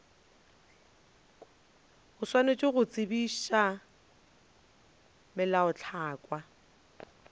o swanetše go tsebagatša melaotlhakwa